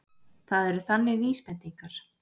Það eru þannig vísbendingar.